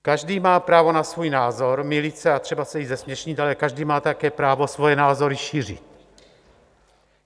Každý má právo na svůj názor, mýlit se a třeba se i zesměšnit, ale každý má také právo svoje názory šířit.